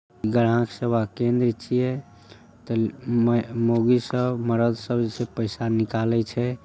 ग्राम सेवा केंद्र छिये त मै मौगी सब मरद सब जइसे पइसा निकाली छे।